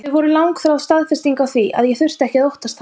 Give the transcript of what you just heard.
Þau voru langþráð staðfesting á því að ég þurfti ekki að óttast hann.